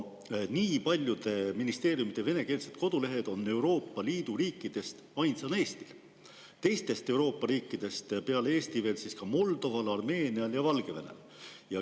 Nii paljude ministeeriumide venekeelsed kodulehed on Euroopa Liidu riikidest ainsana Eestil, teistest Euroopa riikidest peale Eesti veel Moldoval, Armeenial ja Valgevenel.